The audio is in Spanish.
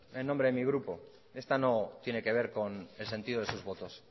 en nombre de mi grupo esta no tiene que ver con el sentido de sus votos